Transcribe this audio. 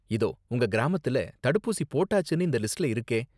இதோ, உங்க கிராமத்துல தடுப்பூசி போட்டாச்சுன்னு இந்த லிஸ்ட்ல இருக்கே.